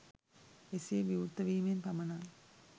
එසේ විවෘත වීමෙන් පමණක්